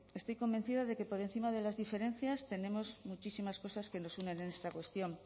estoy convencida de que por encima de las diferencias tenemos muchísimas cosas que nos unen en esta cuestión